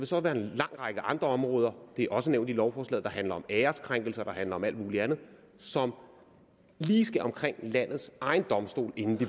så være en lang række andre områder det er også nævnt i lovforslaget der handler om æreskrænkelser der handler om alt mulig andet som lige skal omkring landets egen domstol inden de